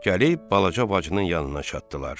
Gəlib balaca bacının yanına çatdılar.